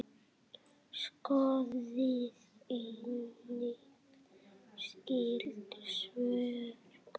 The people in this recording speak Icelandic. Skoðið einnig skyld svör